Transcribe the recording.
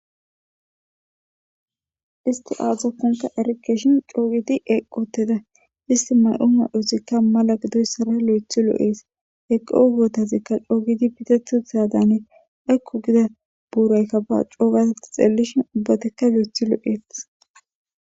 Isti azakonine erikeshin co'u gidi eqi uttida isti mayo mayozaraka mala gidoyisara loythi lo'es eqo bottazika co'u gidi qitati uttidada ges ayko giza burayka ba coo gada ta wochishin lo'othi lo'etes